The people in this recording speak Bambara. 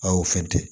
Aw fɛn tɛ